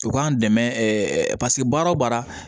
U k'an dɛmɛ paseke baara o baara